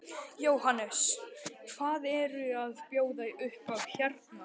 Jóhannes: Hvað eru að bjóða upp á hérna?